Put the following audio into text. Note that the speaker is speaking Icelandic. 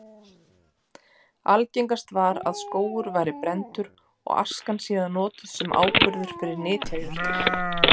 Algengast var að skógur væri brenndur og askan síðan notuð sem áburður fyrir nytjajurtir.